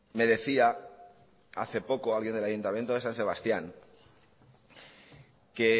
me decía hace poco alguien del ayuntamiento de san sebastián que